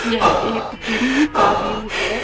यह एक जिम का व्यू है।